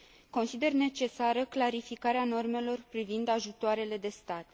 Consider necesară clarificarea normelor privind ajutoarele de stat.